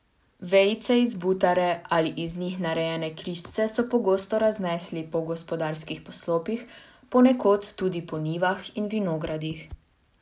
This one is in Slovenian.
Vejice iz butare ali iz njih narejene križce so pogosto raznesli po gospodarskih poslopjih, ponekod tudi po njivah in vinogradih.